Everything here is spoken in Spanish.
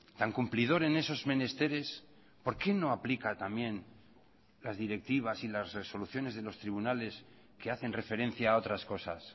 tan cumplidor en esos menesteres por qué no aplica también las directivas y las resoluciones de los tribunales que hacen referencia a otras cosas